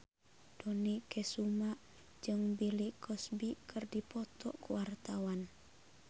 Dony Kesuma jeung Bill Cosby keur dipoto ku wartawan